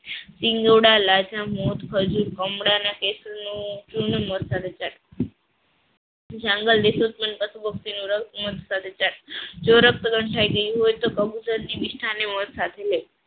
શિંગોડા હલાજન મધ ખજૂર નું ચૂર્ણ મધ સાથે ચાટી જવું. જો રક્ત ગંધાઈ ગયું હોય તો કબૂતર મિષ્ટાન સાથે લઈ શકાય.